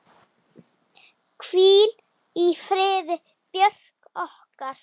Hvíl í friði, Björg okkar.